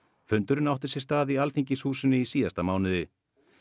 fundurinn átti sér stað í Alþingishúsinu í síðasta mánuði